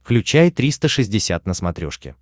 включай триста шестьдесят на смотрешке